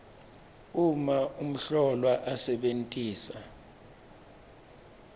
uma umhlolwa asebentisa